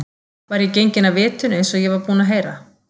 Var ég genginn af vitinu eins og ég var búinn að heyra?